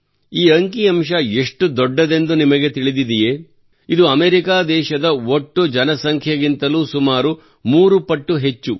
ಈ ಅಂಕಿಅಂಶ ಎಷ್ಟು ದೊಡ್ಡದೆಂದು ನಿಮಗೆ ತಿಳಿದಿದೆಯೇ ಇದು ಅಮೆರಿಕಾ ದೇಶದ ಒಟ್ಟು ಜನಸಂಖ್ಯೆಗಿಂತಲೂ ಸುಮಾರು ಮೂರು ಪಟ್ಟು ಹೆಚ್ಚು